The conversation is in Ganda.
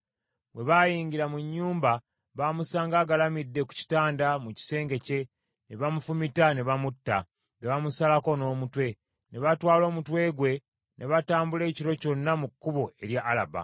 Bwe bayingira mu nnyumba, baamusanga agalamidde ku kitanda mu kisenge kye, ne bamufumita ne bamutta, ne bamusalako n’omutwe. Ne batwala omutwe gwe, ne batambula ekiro kyonna mu kkubo erya Alaba.